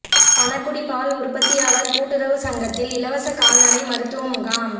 பணகுடி பால் உற்பத்தியாளா் கூட்டுறவு சங்கத்தில் இலவச கால்நடை மருத்துவ முகாம்